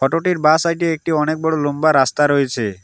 Photo -টির বা side -এ একটি অনেক বড়ো লম্বা রাস্তা রয়েছে।